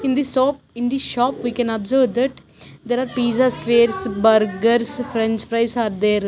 in the sop in the shop we can observe that there are pizza squares burgers french fries are there.